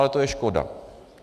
Ale to je škoda!